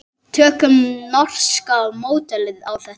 Tökum norska módelið á þetta.